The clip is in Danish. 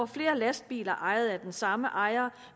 flere lastbiler ejet af den samme ejer